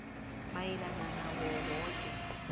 mayelana nawo woke